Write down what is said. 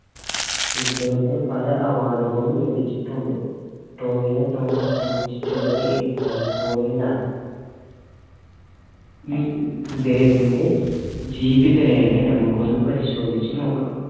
ഇദ്ദേഹത്തിന് പല award കളും ലഭിച്ചിട്ടുണ്ട് ടോവിനോ തോമസ് ജനിച്ചിട്ടുള്ളത് ഇരിഞ്ഞാലിക്കുടയിലാണ് ഏർ ഇദ്ദേഹത്തിന്റെ ജീവിത രേഖ നമ്മക്കൊന്ന് പരിശോധിച്ച് നോക്കാം